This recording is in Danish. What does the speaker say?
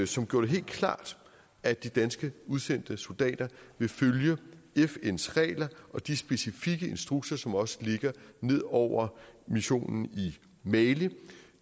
som gjorde det helt klart at de danske udsendte soldater vil følge fns regler og de specifikke instrukser som også ligger ned over missionen i mali